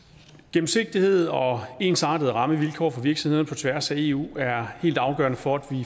gennemsigtighed og ensartede rammevilkår for virksomheder på tværs af eu er helt afgørende for